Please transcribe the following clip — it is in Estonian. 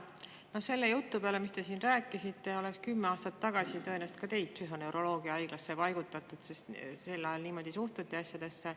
No selle jutu peale, mis te siin rääkisite, oleks kümme aastat tagasi tõenäoliselt teid psühhoneuroloogiahaiglasse paigutatud, sest sel ajal suhtuti niimoodi asjadesse.